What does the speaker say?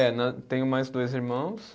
É né, tenho mais dois irmãos.